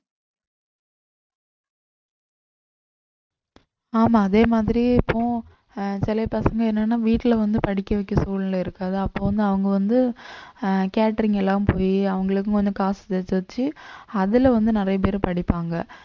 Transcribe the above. ஆமா அதே மாதிரி இப்போவும் ஆஹ் சில பசங்க என்னன்னா வீட்டிலே வந்து படிக்க வைக்க சூழ்நிலை இருக்காது அப்போ வந்து அவங்க வந்து அஹ் catering எல்லாம் போயி அவங்களுக்கும் வந்து காச வச்சு அதுல வந்து நிறைய பேர் படிப்பாங்க